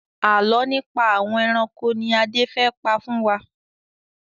Àálọ́ nípa àwọn ẹranko ni Adé fẹ́ pa fún wa.